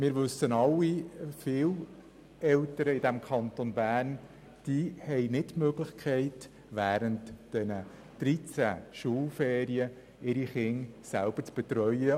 Wir wissen alle, dass viele Eltern im Kanton Bern nicht die Möglichkeit haben, ihre Kinder während den 13 Schulferienwochen selber zu betreuen.